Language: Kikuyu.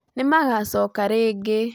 Nĩ magaacoka rĩngĩ